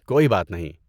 کوئی بات نہیں۔